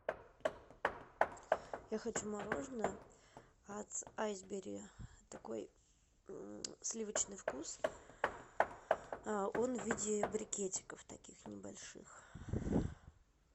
я хочу мороженое от айсбери такой сливочный вкус он в виде брикетиков таких небольших